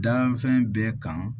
Danfɛn bɛ kan